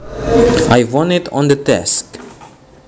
I found it on the desk